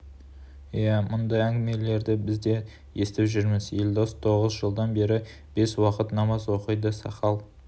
ия бұндай әңгімелерді біз де естіп жүрміз елдос тоғыз жылдан бері бес уақыт намаз оқиды сақал